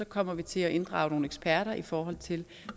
kommer vi til at inddrage nogle eksperter i forhold til